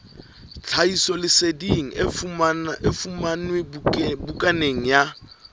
tlhahisoleseding e fumanwe bukaneng ya